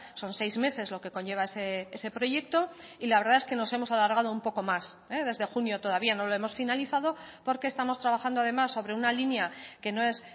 son seis meses lo que conlleva ese proyecto y la verdad es que nos hemos alargado un poco más desde junio todavía no lo hemos finalizado porque estamos trabajando además sobre una línea que no es